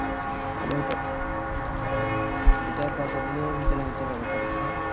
ওইটা এটা কত দিনের ভিতরে হতে পারে পরীক্ষা